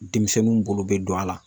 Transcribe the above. Denmisɛnninw bolo bɛ don a la.